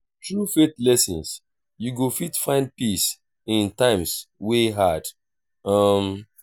thru faith lessons yu go fit find peace in times wey hard. um